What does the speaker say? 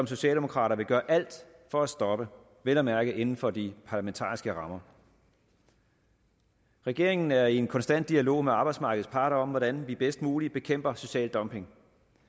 socialdemokrater vil gøre alt for at stoppe vel at mærke inden for de parlamentariske rammer regeringen er i en konstant dialog med arbejdsmarkedets parter om hvordan vi bedst muligt bekæmper social dumping